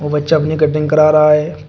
बच्चा अपनी कटिंग कर रहा है।